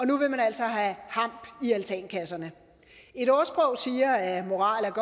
nu vil man altså have hamp i altankasserne et ordsprog siger at moral er